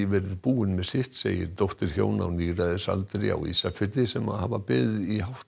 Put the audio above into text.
verið búinn með sitt segir dóttir hjóna á níræðisaldri á Ísafirði sem hafa beðið